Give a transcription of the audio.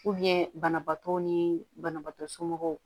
banabaatɔ ni banabaatɔ somɔgɔw